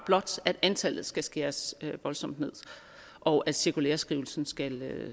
blot at antallet skal skæres voldsomt ned og at cirkulæreskrivelsen skal